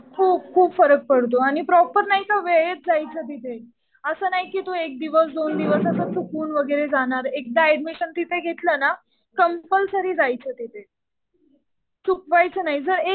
खूप खूप फरक पडतो. आणि प्रॉपर नाही का वेळेत जायचं तिथे. असं नाही कि तू एक दिवस, दोन दिवस असं चुकून वगैरे जाणार. एकदा ऍडमिशन तिथे घेतलं ना कम्पल्सरी जायचं तिथे. चुकवायचं नाही. जर